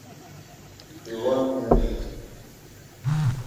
иван мельник